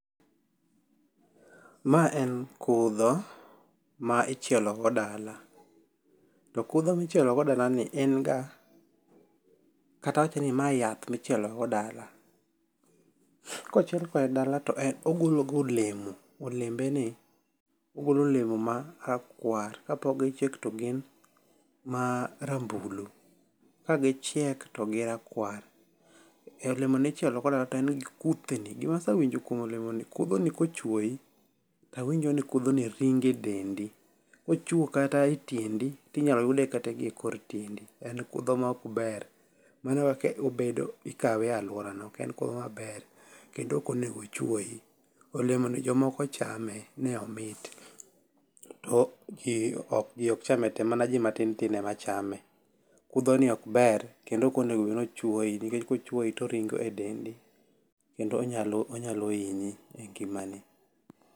ma en kudho ma ichielo go dala to kudho michielo go dala ni en ga ,kata awach ni yath michielo go dala kochiel kode dala to ogolo ga olemo olembeni ogolo olemo ma rakwar ka pok ochiek to gin marambulu ka gichiek to girakwar olemoni ichielo go dala to en gi kuthni, gima asewinjo kuom olemoni kudho ni kochuoyi tawinjo ni kudhoni ringo e dendi kochuo kata i tiendi tinyalo yude kata gi e kor tiendi, en kudho ma ok ber mano e kaka obedo ikawe e aluorano ok en kudho maber kendo ok onego ochuoyi, olemo ni jomoko chame ni omit ,to ji ok chame te man ji matin tin ema chame kudho ni ok ber kendo ok onego bed ni ochuoyi nikech kochuoyi to oringo e dendi kendo onyalo hinyi e ngimani.